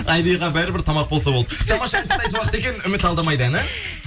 айриға бәрі бір тамақ болса болды тамаша ән тыңдайтын уақыт екен үміт алдамайды әні